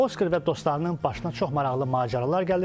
Oskar və dostlarının başına çox maraqlı macəralar gəlir.